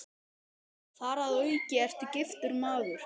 Þar að auki ertu giftur maður.